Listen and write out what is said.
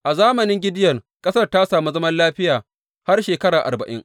A zamanin Gideyon ƙasar ta sami zaman lafiya har shekara arba’in.